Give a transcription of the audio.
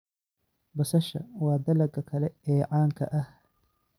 Basasha waa dalagga kale ee caanka ah.